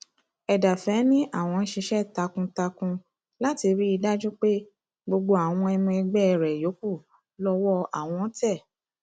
ẹdàfẹ ni àwọn ń ṣiṣẹ takuntakun láti rí i dájú pé gbogbo àwọn ọmọ ẹgbẹ rẹ yòókù lọwọ àwọn tẹ